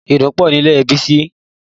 Ìdun pọ̀ nílé Bísí, ó gbọ́dọ̀ lo sniper fí ilé náà